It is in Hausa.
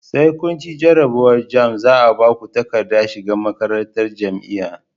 Sai kunci jarabawar jamb zaa Baku takaddar shiga makarantar jamia